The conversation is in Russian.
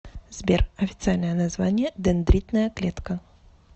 сбер официальное название дендритная клетка